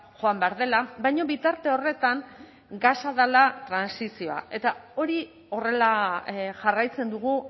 joan behar dela baina bitarte horretan gasa dela trantsizioa eta hori horrela jarraitzen dugu